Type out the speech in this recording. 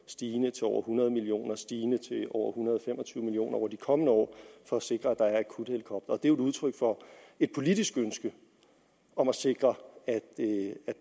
stigende til over hundrede million kr stigende til over en hundrede og fem og tyve million kroner over de kommende år for at sikre at der er akuthelikoptere det er udtryk for et politisk ønske om at sikre at